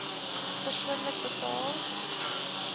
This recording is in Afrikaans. persoonlik betaal